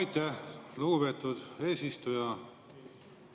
Aitäh, lugupeetud eesistuja!